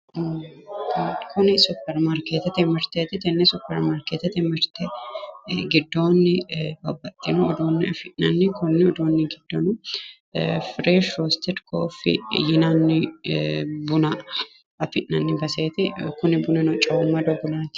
Tini superi marketete mirteeti Tenne Super markeetete mirte giddoonni babbaxxino uduunne afi'nanni kuri giddono Fresh roasting coffee yinanni buna afi'nanni baseeti kuni bunino Coommanno bunaati.